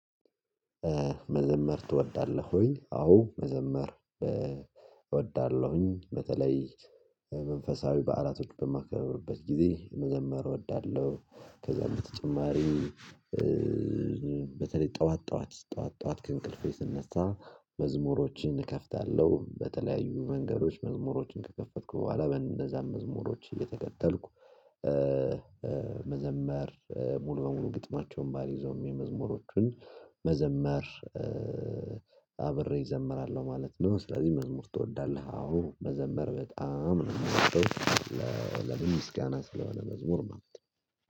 መዘመር ትወዳለህ? ውይ አዎ መዘመር እወዳለሁኝ በተለይ መንፈሳዊ በዓላቶች በማከብርበት ጊዜ መዘመር እወዳለሁ። ከዛ በተጨማሪ። በተለይ ጠዋት ጠዋት ጠዋት ጠዋት ከእንቅልፌ ስነሳ መዝሙሮችን እከፍታለሁ በተለያዩ መንገዶች መዝሙሮችን ከከፈትኩ በኋላ በእንደዛም መዝሙሮች እየተከተልኩ መዘመር ሙሉ በሙሉ ግጥማቸውን ባልይዘውም የመዝሙሮቹን መዘመር አብሬ እዘመራለሁ ማለት ነው። ስለዚህ መዝሙር ትወዳለህ? አዎ መዘመር በጣም ነው ምወደው። ለምስጋና ስለሆነ መዝሙር ማለት ነው።